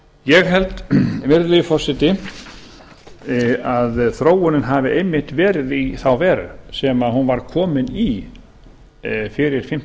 ég held virðulegi forseti að þróunin hafi einmitt verið í þá veru sem hún var komin í fyrir